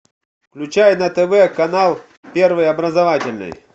включай на тв канал первый образовательный